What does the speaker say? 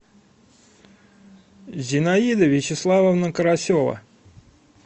зинаида вячеславовна карасева